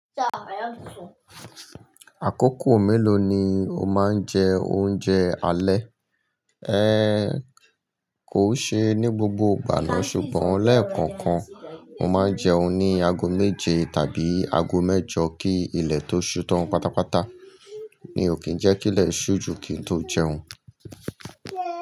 Àkókò mélòó ni o máa ń jẹ oúnjẹ alẹ́? Ẹ kò ṣe ní gbogbo ìgbà náà, ṣùgbọ́n lẹ́ẹ̀kọ̀ọ̀kan. Mo máa ń jẹun ní ago méje tàbí ago mẹ́jọ kí ilẹ̀ tó ṣu tán pátápátá. Mi ò kí ń jẹ́ kí ilẹ̀ ṣú ju kí n tó jẹun.